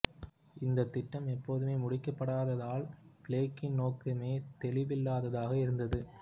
இந்தத் திட்டம் எப்போதுமே முடிக்கப்படாததால் பிளேக்கின் நோக்கமே தெளிவில்லாததாக இருந்தது